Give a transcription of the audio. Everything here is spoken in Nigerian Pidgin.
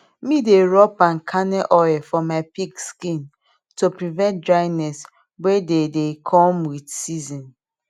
mi dey rub palm kernal oil for my pig skin to prevent dryness wey dey dey come with season